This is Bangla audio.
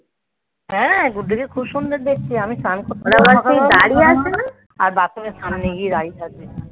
হ্যাঁ, গুড্ডুকে খুব সুন্দর দেখতে. আমি স্নান করতে পারছি না. দাঁড়িয়ে আছে না. আর বাথরুমে বাথরুমের সামনে গিয়ে দাঁড়িয়ে থাকবে